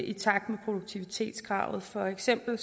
i takt med produktivitetskravet for eksempel